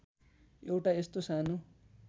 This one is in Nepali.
एउटा यस्तो सानो